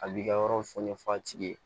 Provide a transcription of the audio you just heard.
A b'i ka yɔrɔ fɔ ɲɛfɔ a tigi ye